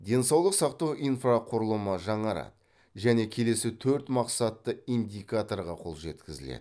денсаулық сақтау инфрақұрылымы жаңарады және келесі төрт мақсатты индикаторға қол жеткізіледі